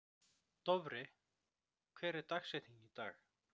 Dofri, hver er dagsetningin í dag?